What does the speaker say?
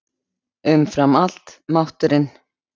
Umfram allt: mátturinn.